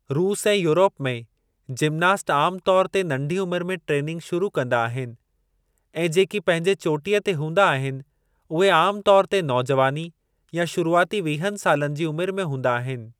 रूस ऐं यूरोप में जिम्नास्ट आमु तौर ते नंढी उमिरि में ट्रेनिंग शुरू कंदा आहिनि ऐं जेकी पंहिंजे चोटीअ ते हूंदा आहिनि उहे आमु तौरु ते नौजवानी या शुरूआती वीहनि सालनि जी उमिरि में हूंदा आहिनि।